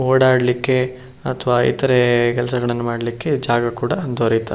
ಓಡಾಡ್ಲಿಕ್ಕೆ ಅಥವಾ ಇತರೆ ಕೆಲಸಗಳನ್ನ ಮಾಡ್ಲಿಕ್ಕೆ ಜಾಗ ಕೂಡ ದೊರೆಯುತ್ತದೆ.